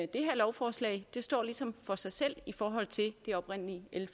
det her lovforslag står ligesom for sig selv i forhold til det oprindelige l